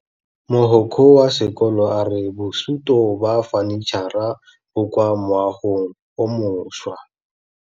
Mogokgo wa sekolo a re bosutô ba fanitšhara bo kwa moagong o mošwa.